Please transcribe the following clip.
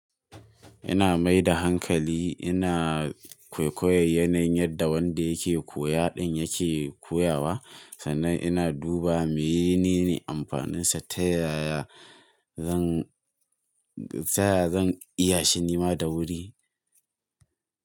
Ina mai da hankali, ina kwaikwayon yanayin yadda wanda yake koya ɗin yake koyawa sannan ina duba menene amfaninsa ta yaya zan, ta yaya zan iya shi nima da wuri.